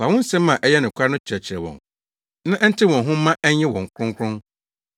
Fa wo nsɛm a ɛyɛ nokware no kyerɛkyerɛ wɔn na ɛntew wɔn ho mma ɛnyɛ wɔn kronkron.